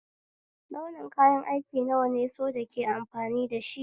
Launi kayan aiki nawa ne soja ke amfani dashi?